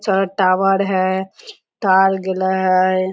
सारा टॉवर है तार गिल्ला है।